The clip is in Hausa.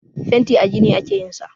Fenti a gini ake yin sa.